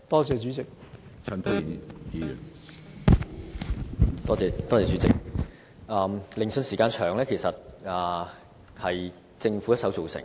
主席，研訊時間過長其實是政府一手造成的。